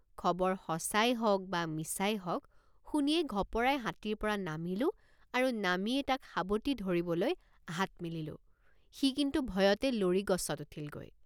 খবৰ সচাঁই হওক বা মিছাই হওক শুনিয়েই ঘপৰাই হাতীৰপৰা নামিলোঁ আৰু নামিয়েই তাক সাবটি ধৰিবলৈ হাত মেলিলোঁ সি কিন্তু ভয়তে লৰি গছত উঠিলগৈ।